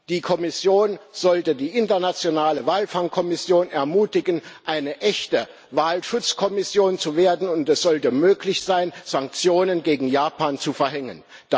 Die Kommission sollte die Internationale Walfangkommission ermutigen, eine echte Walschutzkommission zu werden, und es sollte möglich sein, Sanktionen gegen Japan zu verhängen.